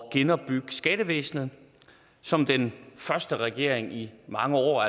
at genopbygge skattevæsnet som den første regering i mange år